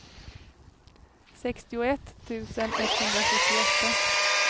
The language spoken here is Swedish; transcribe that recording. sextioett tusen etthundrasjuttioåtta